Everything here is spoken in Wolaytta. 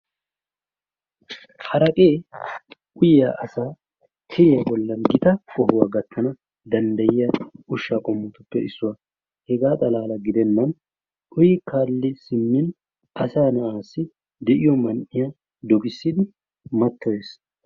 haraqee uyiya asaa tiriya asaa bolan gita qohuwa gatana danddayiya usha qommo, hegaa xala gidenan de'iyo man'iya dogissidi matoyees.